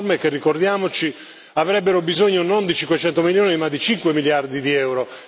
Riforme che, ricordiamoci, avrebbero bisogno non di 500 milioni ma di 5 miliardi di euro.